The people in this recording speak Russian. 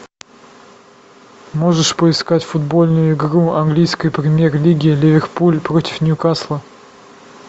можешь поискать футбольную игру английской премьер лиги ливерпуль против ньюкасла